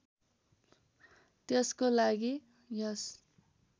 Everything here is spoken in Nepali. त्यसको लागि यस